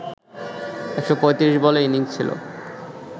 ১৩৫ বলের ইনিংসে ছিল